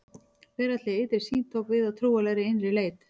Veraldleg ytri sýn tók við af trúarlegri innri leit.